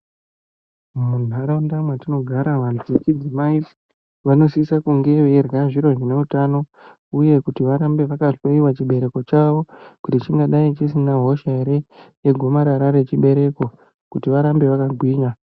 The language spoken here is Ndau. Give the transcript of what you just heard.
Muntaraunda mwatinogara vantu vechidzimai vanosisa kunge veirya zviro zvineutano uye kuti varambe vakahloiwa chibereko chavo kuti chingadai chisina hosha ere yegomarara rechibereko kuti varambe vakagwinya.